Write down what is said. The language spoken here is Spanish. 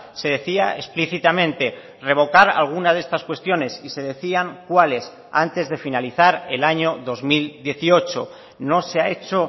se decía explícitamente revocar alguna de estas cuestiones y se decían cuáles antes de finalizar el año dos mil dieciocho no se ha hecho